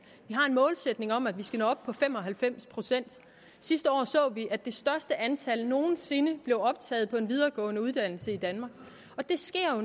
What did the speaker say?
vi har en målsætning om at vi skal nå op på fem og halvfems procent sidste år så vi at det største antal nogen sinde blev optaget på en videregående uddannelse i danmark og det sker